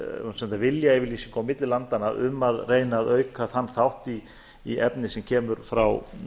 viljayfirlýsingu á milli landanna um að reyna að auka þann þátt í efni sem kemur frá